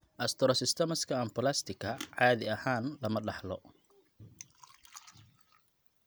Astrocytomaska anaplasticka caadi ahaan lama dhaxlo.